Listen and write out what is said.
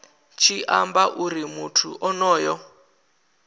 tshi amba uri muthu onoyo